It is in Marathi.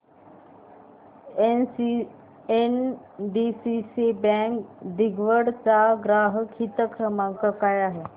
एनडीसीसी बँक दिघवड चा ग्राहक हित क्रमांक काय आहे